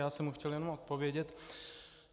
Já jsem mu chtěl jenom odpovědět.